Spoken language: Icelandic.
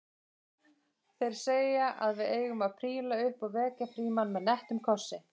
Þeir segja að við eigum að príla upp og vekja Frímann með nettum kossi